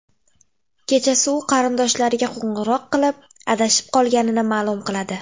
Kechasi u qarindoshlariga qo‘ng‘iroq qilib, adashib qolganini ma’lum qiladi.